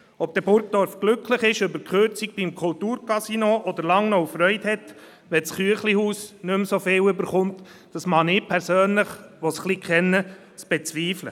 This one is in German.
Ob Burgdorf dann glücklich ist über die Kürzung beim Kulturcasino oder Langnau Freude hat, wenn das «Chüechlihus» nicht mehr so viel bekommt, wage ich persönlich, der ich es ein wenig kenne, zu bezweifeln.